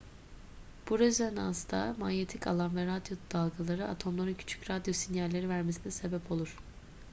bu rezonansta manyetik alan ve radyo dalgaları atomların küçük radyo sinyalleri vermesine sebep olur